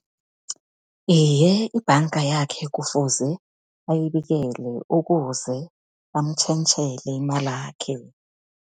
Iye, ibhanga yakhe kufuze ayibikele ukuze amtjhentjhele imalakhe.